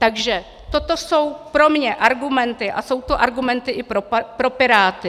Takže toto jsou pro mě argumenty a jsou to argumenty i pro Piráty.